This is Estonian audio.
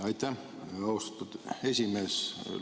Aitäh, austatud esimees!